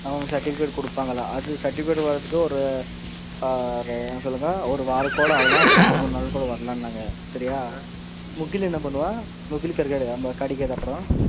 அவங்க certificate கொடுப்பாங்கல்ல அந்த certificate வர்றதுக்கு ஒரு ஆ என்ன சொல்ல ஒரு வாரம் கூட ஆகலாம் அப்புறம் ரெண்டு மூணு நாள்ல கூட வரலாம்னாங்க சரியா முகில் என்ன பண்ணுவான் முகில்க்கு கிடைக்காது அப்புறம்,